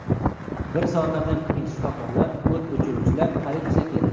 Bir soatlardan keyin shifokorlar, o‘t o‘chiruvchilar, politsiya keldi.